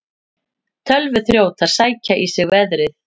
Tölvuþrjótar sækja í sig veðrið